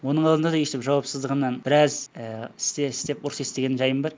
оның алдында да өстіп жауапсыздығымнан біраз і істе істеп ұрыс естіген жайым бар